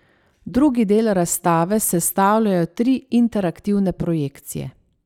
Drugi del razstave sestavljajo tri interaktivne projekcije.